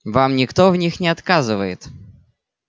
вам никто в них не отказывает